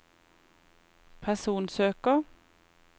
personsøker